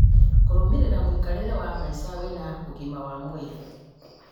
kũrũmĩrĩra mũikarĩre wa maica wĩna ũgima wa mwĩrĩ